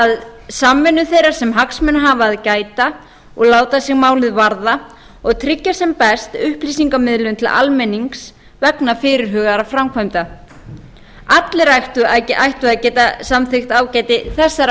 að samvinnu þeirra sem hagsmuna hafa að gæta og láta sig lið varða og tryggja sem best upplýsingamiðlun til almennings vegna fyrirhugaðra framkvæmda allir ættu að geta samþykkt ágæti þessara markmiða